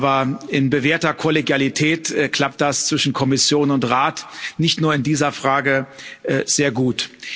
Aber in bewährter Kollegialität klappt das zwischen Kommission und Rat nicht nur in dieser Frage sehr gut.